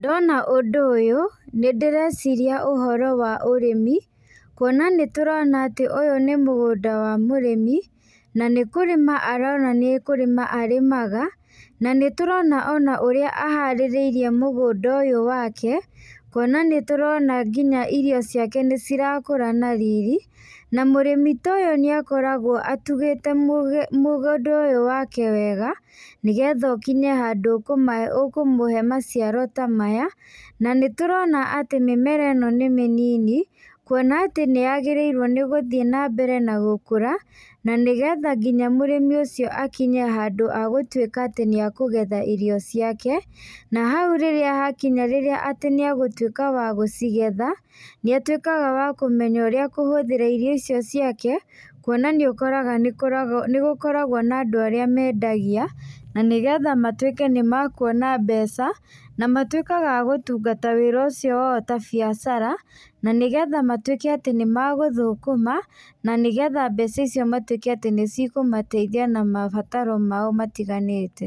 Ndona ũndũ ũyũ nĩndĩreciria ũhoro wa ũrĩmi, kũona nĩ tũrona atĩ ũyũ nĩ mũgũnda wa mũrĩmi na nĩkũrima aronania nĩ kũrĩma arĩmaga, na nĩtũrona ona ũrĩa aharĩrĩirie mũgũnda ũyũ wake, kuona nĩtũrona nginya irio ciake nĩcirakũra na riri, na mũrĩmi ta ũyũ nĩakoragwo atũgĩte mũgũnda ũyũ wake wega, nĩgetha ũkĩnye handũ ũkũmũhe maciaro ta maya, na nĩtũrona atĩ mĩmera ĩno nĩ mĩnini, kũona atĩ nĩyagĩrĩirwo nĩgũthiĩ na mbere na gũkũra, na nĩgetha nginya mũrĩmi ũcio akinye handũ ha gũtuĩka atĩ nĩekũgetha irio ciake, na hau rĩrĩa hakinya rĩrĩa atĩ nĩegũtuika wa gucigetha, nĩatuĩkaga wa kumenya ũrĩa akũhũthĩra irio icio ciake kuona nĩũkoraga nĩgũkoragwo na andũ arĩa mendagia, na nĩgetha matuĩke nĩ makuona mbeca na matuĩkaga agũtũngata wĩra ucio wao ta biacara, na nĩgetha matuĩke atĩ nĩ magũthũkũma, na nĩgetha mbeca icio matuĩke atĩ nĩcikumateithia na mabataro mao matiganĩte.